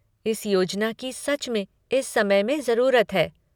इस योजना की सच में इस समय में जरूरत है।